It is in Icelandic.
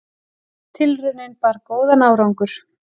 Tilraunin bar góðan árangur.